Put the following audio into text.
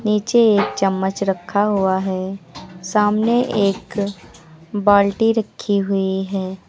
नीचे एक चम्मच रखा हुआ है। सामने एक बाल्टी रखी हुई है।